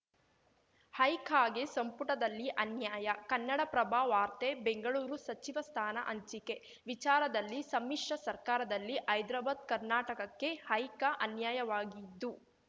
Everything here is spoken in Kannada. ಹೈಕಗೆ ಸಂಪುಟದಲ್ಲಿ ಅನ್ಯಾಯ ಕನ್ನಡಪ್ರಭ ವಾರ್ತೆ ಬೆಂಗಳೂರು ಸಚಿವ ಸ್ಥಾನ ಹಂಚಿಕೆ ವಿಚಾರದಲ್ಲಿ ಸಮ್ಮಿಶ್ರ ಸರ್ಕಾರದಲ್ಲಿ ಹೈದ್ರಾಬಾದ್‌ ಕರ್ನಾಟಕಕ್ಕೆ ಹೈಕ ಅನ್ಯಾಯವಾಗಿದ್ದು